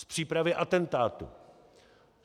Z přípravy atentátu.